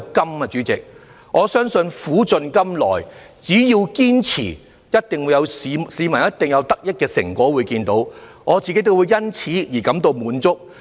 代理主席，我相信苦盡甘來，只要堅持，一定可令市民看到得益的成果，我亦會因此感到滿足。